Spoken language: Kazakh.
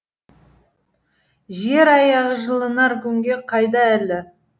жер аяғы жылынар күнге қайда әлі